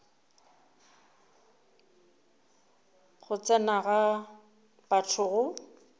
go tsena ga batho go